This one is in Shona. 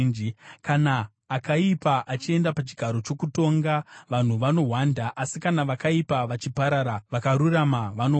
Kana akaipa achienda pachigaro chokutonga, vanhu vanohwanda; asi kana vakaipa vachiparara, vakarurama vanowanda.